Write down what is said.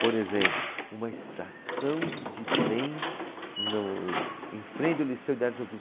Por exemplo, uma estação de trem no, em frente ao liceu de artes ofi.